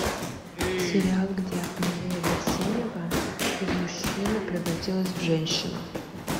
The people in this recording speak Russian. сериал где мария берсенева из мужчины превратилась в женщину